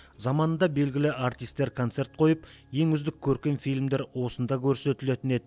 заманында белгілі әртістер концерт қойып ең үздік көркем фильмдер осында көрсетілетін еді